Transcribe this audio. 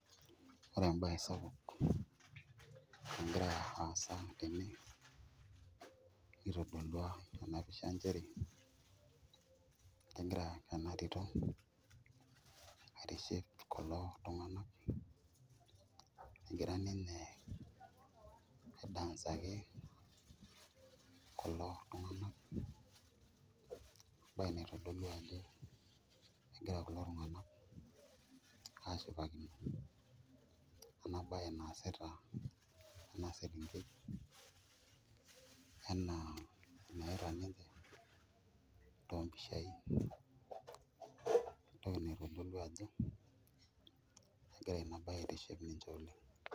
Ore embaye sapuk nagira aasa tene itodolua ena pisha naa enchere kegira ena tito aitiship kulo tung'anak egira ninye aidancaki kulo tung'anak embaye naitodolu ajo egira kulotung'anak aashipakino ena baye naasita ena selenkei enaa enayaita ninche toompisha ientoki naitodolu ajo egira ina baye aitiship ninche oleng'.